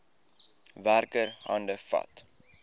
werker hande vat